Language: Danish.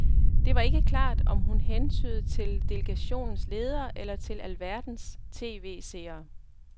Det var ikke klart, om hun hentydede til delegationens ledere eller til alverdens tv-seere.